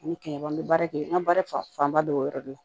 Ani kɛmɛ an bɛ baara kɛ n ka baara fanba bɛ o yɔrɔ de la